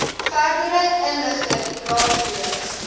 verdere inligting raadpleeg